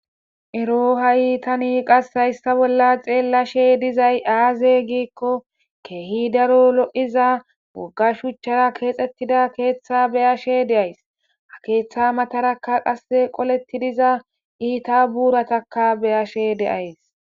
Ero ha'itani qas ayssa bolla xeellashe dizay aaze giikko keehi daro lo'iza bogga shuchchara keexxettida keeththa beyashe deays ha keeththa matarakka qase qoletti diza iita buuratakka beyashe deays.